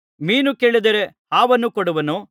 ಮೀನು ಕೇಳಿದರೆ ಹಾವನ್ನು ಕೊಡುವನೋ